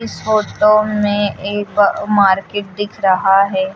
Photo में एक market दिख रहा है।